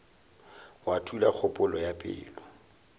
wa thula kgopolo ya pelo